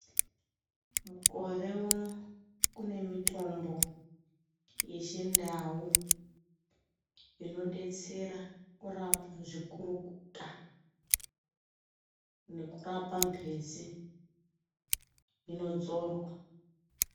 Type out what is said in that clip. Mukore uno kune mitombo yechindau inobetsera kurapa zvikurukuta nekurapa mhezi inodzorwa.